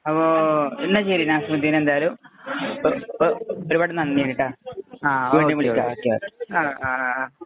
അപ്പൊ, നാസിമുദ്ദീന്‍ എന്തായാലും ഒരു പാട് നന്ദിയുണ്ട്